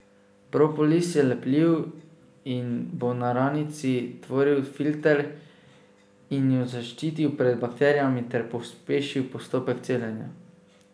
Propolis je lepljiv in bo na ranici tvoril filter in jo zaščitil pred bakterijami ter pospešil postopek celjenja.